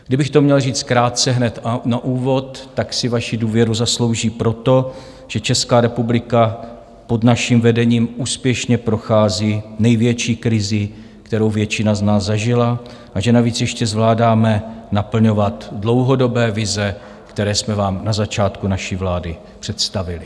Kdybych to měl říct krátce hned na úvod, tak si vaši důvěru zaslouží proto, že Česká republika pod naším vedením úspěšně prochází největší krizí, kterou většina z nás zažila, a že navíc ještě zvládáme naplňovat dlouhodobé vize, které jsme vám na začátku naší vlády představili.